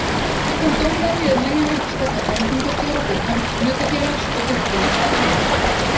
Samkvæmt dómvenju er nægjanlegt að stefna framkvæmdastjóra fyrir hönd hlutafélags og birta honum stefnu.